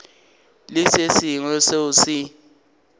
le se sengwe seo se